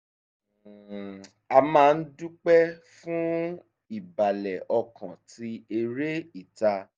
um a máa ń dúpẹ́ fún ìbàlẹ̀ ọkàn tí eré ìta